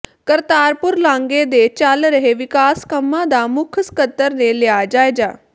ਕਰਤਾਰਪੁਰ ਲਾਂਘੇ ਦੇ ਚੱਲ ਰਹੇ ਵਿਕਾਸ ਕੰਮਾਂ ਦਾ ਮੁੱਖ ਸਕੱਤਰ ਨੇ ਲਿਆ ਜਾਇਜ਼ਾ